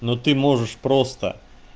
ну ты можешь просто